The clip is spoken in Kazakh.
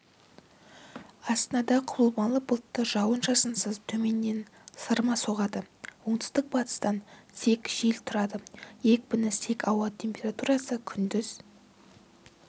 астанада құбылмалы бұлтты жауын-шашынсыз төменнен сырма соғады оңтүстік-батыстан сек жел тұрады екпіні сек ауа температурасы күндіз